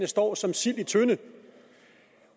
står som sild i en tønde